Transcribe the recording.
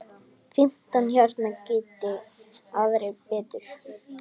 Fimmtán hérna, geri aðrir betur!